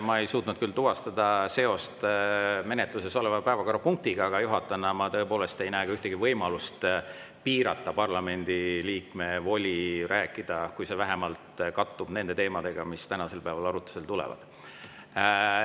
Ma ei suutnud küll tuvastada seost menetluses oleva päevakorrapunktiga, aga juhatajana ma tõepoolest ei näe ka ühtegi võimalust piirata parlamendiliikme voli rääkida, kui see vähemalt kattub nende teemadega, mis tänasel päeval arutlusele tulevad.